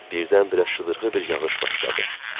Birdən-birə şıdırğı bir yağış başladı.